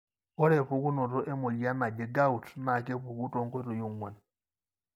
ore pukunoto emoyian naji Gout na kepuku tonkoitoi onguan.